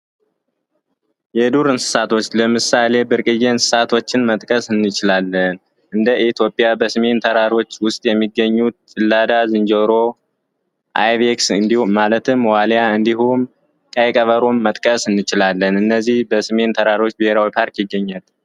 የዱር እንሰሳቶች ለምሳሌ ብርቅዬ እንስሳቶችን መጥቀስ እንችላለን። እንደ ኢትዮጵያ ሰሜን ተራሮች ውስጥ የሚገኙ ጭላዳ ዝንጀሮ፣ አይቤክስ ማለትም ዋልያ እንዲሁም ቀይ ቀበሮን መጥቀስ እንችላለን። እነዚህ በስሜን ተራሮች ብሔራዊ ፓርክ ይገኛሉ።